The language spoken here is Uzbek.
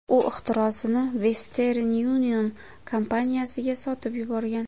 U ixtirosini Western Union kompaniyasiga sotib yuborgan.